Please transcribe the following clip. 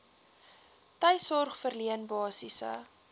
tuissorg verleen basiese